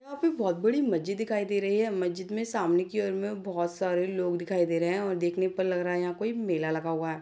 यहाँ पे बहुत बड़ी मज्जिद दिखाई दे रही है मज्जिद में सामने की ओर में बहुत सारे लोग दिखाई दे रहे हैं और देखने पर लग रहा है यहाँ कोई मेला लगा हुआ है।